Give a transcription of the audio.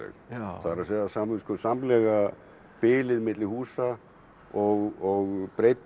það er að segja samviskusamlega bilið milli húsa og breidd